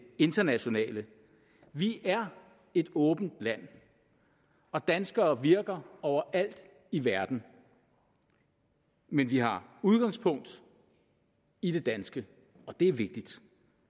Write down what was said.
internationale vi er et åbent land og danskere virker overalt i verden men vi har udgangspunkt i det danske og det er vigtigt